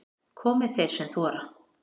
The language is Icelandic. Komi þeir sem þora